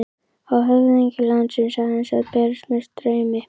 Á höfðingi landsins aðeins að berast með straumi?